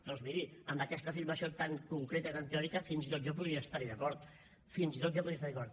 doncs miri amb aquesta afirmació tan concreta i tan teòrica fins i tot jo podria estar hi d’acord fins i tot jo podria estar hi d’acord